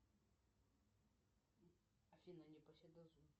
афина